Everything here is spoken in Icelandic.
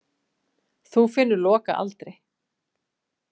Þú finnur Loka aldrei.